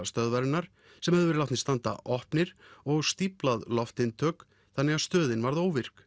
stöðvarinnar sem höfðu verið látnir standa opnir og stíflað loftinntök þannig að stöðin varð óvirk